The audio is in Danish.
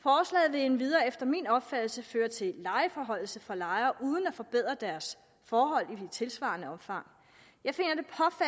vil endvidere efter min opfattelse føre til en lejeforhøjelse for lejere uden at forbedre deres forhold i et tilsvarende omfang jeg